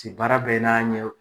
baara bɛ n'a ɲɛ o.